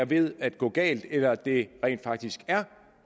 ved at gå galt eller det rent faktisk er